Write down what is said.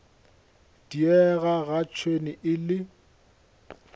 diega ga tšhwene e le